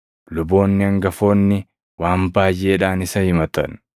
Luboonni hangafoonni waan baayʼeedhaan isa himatan.